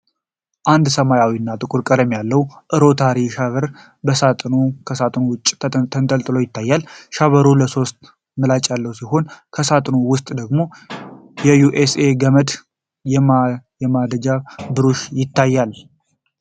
አንድ ሰማያዊና ጥቁር ቀለም ያለው 'ሮታሪ ሻቨር በሣጥኑና ከሣጥኑ ውጭ ተነጣጥሎ ይታያል። ሻቨሩ ባለሶስት ምላጭ ያለው ሲሆን፣ ከሳጥኑ ውስጥ ደግሞ የዩኤስቢ ገመድና የማጽጃ ብሩሽ ይገኛሉ።